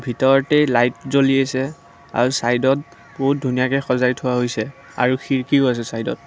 ভিতৰতে লাইট জ্বলি আছে আৰু চাইদত বহুত ধুনীয়াকে সজাই থোৱা হৈছে আৰু খিৰিকীও আছে চাইদত।